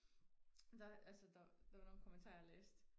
der altså der der var nogle kommentarer jeg læste